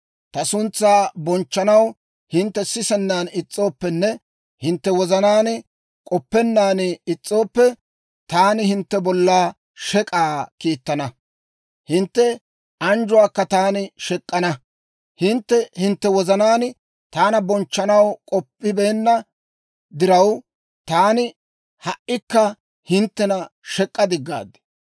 Ta suntsaa bonchchanaw hintte sisennaan is's'ooppenne hintte wozanaan k'oppennaan is's'ooppe, taani hintte bolla shek'k'aa kiittana; hintte anjjuwaakka taani shek'k'ana. Hintte hintte wozanaan taana bonchchanaw k'oppibeenna diraw, taani ha"ikka hinttena shek'k'a diggaad.